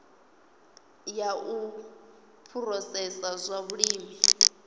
ya u phurosesa zwa vhulimi